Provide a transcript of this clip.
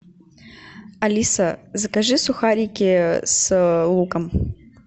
алиса закажи сухарики с луком